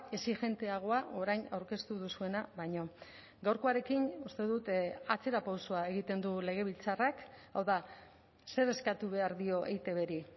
exijenteagoa orain aurkeztu duzuena baino gaurkoarekin uste dut atzera pausoa egiten du legebiltzarrak hau da zer eskatu behar dio eitbri